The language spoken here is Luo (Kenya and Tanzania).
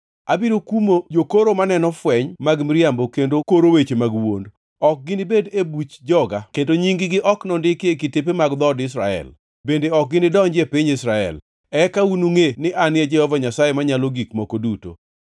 Abiro kumo jokoro maneno fweny mag miriambo kendo koro weche mag wuond. Ok ginibed e buch joga, kendo nying-gi ok nondiki e kitepe mar dhood Israel, bende ok ginidonji e piny Israel. Eka unungʼe ni An e Jehova Nyasaye Manyalo Gik Moko Duto.